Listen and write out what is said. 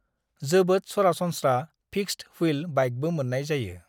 जोबोद सरासनस्रा फिक्सद-व्हील बाइकबो मोन्नाय जायो।